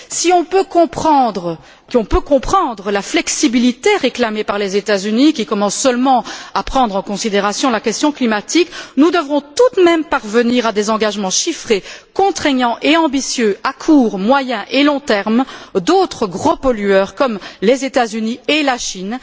Si on peut comprendre la flexibilité réclamée par les États Unis, qui commencent seulement à prendre en considération la question climatique, nous devrons tout de même parvenir à des engagements chiffrés contraignants et ambitieux, à court, moyen et long terme de gros pollueurs comme les États Unis et la Chine.